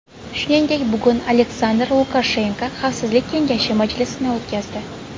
Shuningdek, bugun Aleksandr Lukashenko xavfsizlik kengashi majlisini o‘tkazdi.